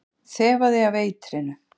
Þefaði af eitrinu.